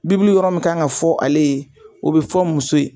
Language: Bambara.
yɔrɔ min kan ka fɔ ale ye o bɛ fɔ muso ye